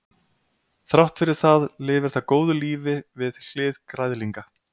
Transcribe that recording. Þrátt fyrir það lifir það góðu lífi við hlið græðlinga.